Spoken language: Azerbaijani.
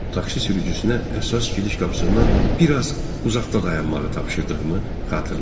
Takşi sürücüsünə əsas gediş qapısından bir az uzaqda dayanmağı tapşırdığımı xatırlayıram.